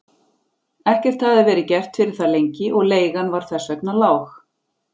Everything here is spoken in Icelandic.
Ekkert hafði verið gert fyrir það lengi og leigan var þess vegna lág.